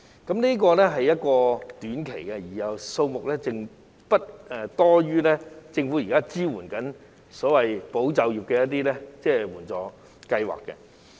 該計劃提供短期支援，而數額亦不多於政府現時推行的"保就業"計劃。